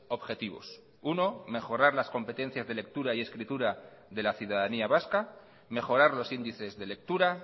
objetivos uno mejorar las competencias de lectura y escritura de la ciudadanía vasca mejorar los índices de lectura